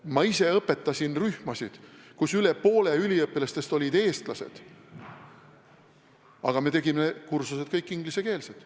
Ma ise õpetasin rühmasid, kus üle poole üliõpilastest olid eestlased, aga me tegime kursused kõik ingliskeelsed.